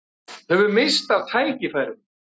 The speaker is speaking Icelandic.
Höfum misst af tækifærum